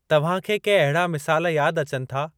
तव्हां खे के अहिड़ा मिसाल यादि अचनि था?